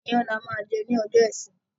Ìyàn ni a máa jẹ ní ọjọ́ ìsinmi